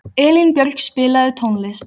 Elínbjörg, spilaðu tónlist.